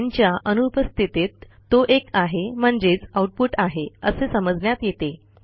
न् च्या अनुपस्थितीत तो एक आहे म्हणजेच आऊटपुट आहे असे समजण्यात येते